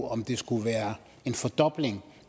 om der skulle være en fordobling